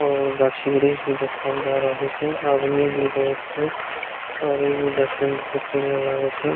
और गाछ-वृक्ष भी देखाब दे रहल छै आदमी भी बहुत छै और इ भी देखे मे बहुत बढ़ियाँ लएग छै।